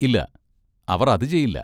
ഇല്ല, അവർ അത് ചെയ്യില്ല.